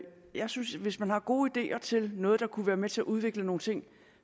jeg synes at hvis man har gode ideer til noget der kunne være med til at udvikle nogle ting